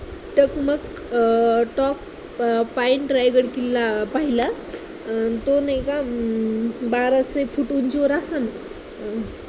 टकमक अं टोक point रायगड किल्ला पाहिला अं तो नाही का हम्म बाराशे foot उंचीवर असेन.